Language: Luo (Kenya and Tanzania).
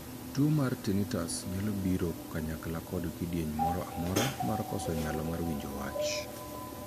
Tuo mar 'tinnitus' nyalo biro kanyakla kod kidieny moro amora mar koso nyalo mar winjo wach.